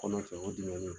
Kɔnɔ cɛ o diminen don